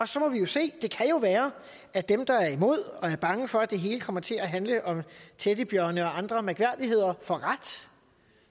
så må vi jo se det kan jo være at dem der er imod og er bange for at det hele kommer til at handle om teddybjørne og andre mærkværdigheder får ret